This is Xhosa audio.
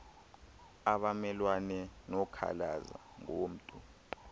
abamelwane bekhalaza ngomntu